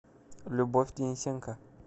любовь денисенко